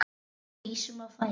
Við rísum á fætur.